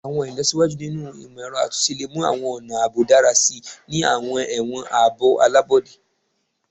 Awọn ilọsiwaju ninu imọ-ẹrọ atunṣe le mu awọn ọna aabo dara si ni awọn ẹwọn aabo alabọde